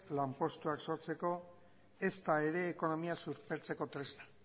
lanpostuak sortzeko ezta ere ekonomia suspertzeko tresna